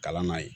Kalan n'a ye